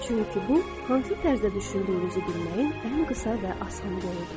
Çünki bu, hansı tərzdə düşündüyünüzü bilməyin ən qısa və asan yoludur.